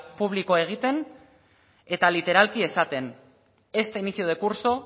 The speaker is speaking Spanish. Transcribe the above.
publikoa egiten eta literalki esaten este inicio de curso